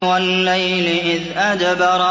وَاللَّيْلِ إِذْ أَدْبَرَ